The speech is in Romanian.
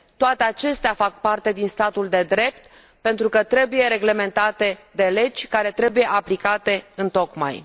Toate acestea fac parte din statul de drept, pentru că trebuie reglementate de legi care trebuie aplicate întocmai.